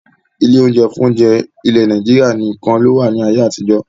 Ilé oúnjẹ fún oúnjẹ ilẹ̀ Nàìjíríà nìkan lowa ni ayé àtijọ́